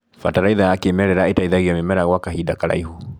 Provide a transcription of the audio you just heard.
Bataraitha ya kĩmerera ĩteithagia mĩmera gwa kahinda karaihu.